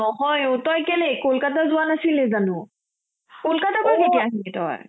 নহয় ও তই কেলেই কলকাতা যোৱা নাছিলি জানো? কলকাতাৰ পা কেতিয়া আহিলি তই?